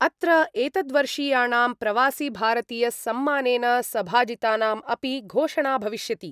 अत्र एतद्वर्षीयाणां प्रवासिभारतीयसम्मानेन सभाजितानाम् अपि घोषणा भविष्यति।